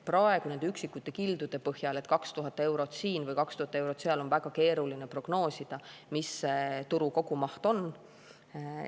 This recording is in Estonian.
Praegu nende üksikute kildude põhjal, et 2000 eurot siin või 2000 eurot seal, on väga keeruline prognoosida, mis turu kogumaht on.